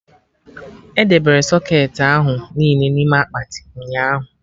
Edebere socketị ahụ niile n'ime akpati, ụnyaahụ